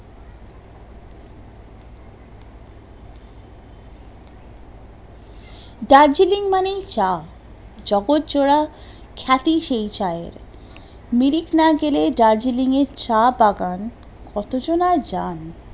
দার্জেলিং মানেই চা, জগৎজোড়া খ্যাতি সেই চায়ের, মিরিট না গেলে দার্জেলিং এর চা বাগান